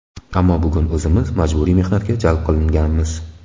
Ammo bugun o‘zimiz majburiy mehnatga jalb qilinganmiz.